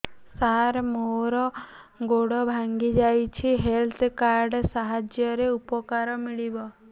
ସାର ମୋର ଗୋଡ଼ ଭାଙ୍ଗି ଯାଇଛି ହେଲ୍ଥ କାର୍ଡ ସାହାଯ୍ୟରେ ଉପକାର ମିଳିବ